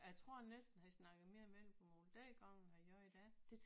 Jeg tror næsten han snakkede mere vendelbomål dengang end han gør i dag